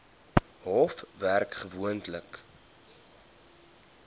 hof werk gewoonlik